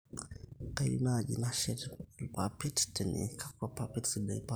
kayieu naaji nasheti ilpapit tene, kakwa papit sidai paashet